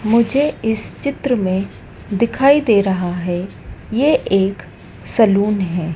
मुझे इस चित्र में दिखाई दे रहा है ये एक सलून है।